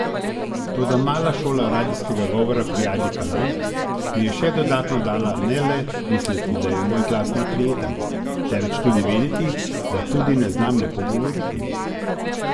Toda mala šola radijskega govora pri Ajdi Kalan mi je še dodatno dala ne le misliti, da je moj glas neprijeten, temveč tudi vedeti, da tudi ne znam lepo govoriti.